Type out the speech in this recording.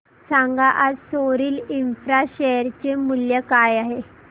सांगा आज Soril infra share चे मूल्य काय आहे